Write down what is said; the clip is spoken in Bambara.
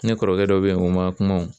Ne kɔrɔkɛ dɔ be yen o ma kuma wo